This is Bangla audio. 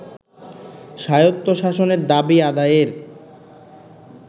স্বায়ত্তশাসনের দাবি আদায়ের